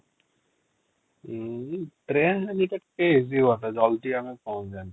ଉଁ train bus ଜଲ୍ଦି ଆମେ ପହଞ୍ଚିଯାଆନ୍ତେ ।